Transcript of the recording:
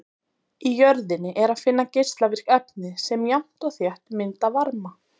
Í jörðinni er að finna geislavirk efni sem jafnt og þétt mynda varma.